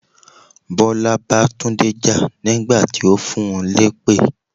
Bọlá bá Tunde jà nígbà tí ó fún un lépè.